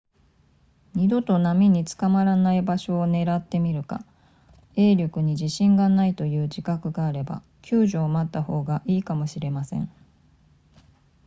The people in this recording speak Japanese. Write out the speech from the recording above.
二度と波に捕まらない場所を狙ってみるか泳力に自信がないという自覚があれば救助を待った方がいいかもしれません